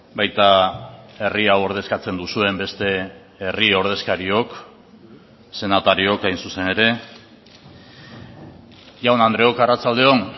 baita herri hau ordezkatzen duzuen beste herri ordezkariok senatariok hain zuzen ere jaun andreok arratsalde on